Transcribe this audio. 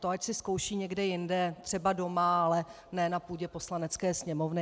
To ať si zkouší někde jinde, třeba doma, ale ne na půdě Poslanecké sněmovny.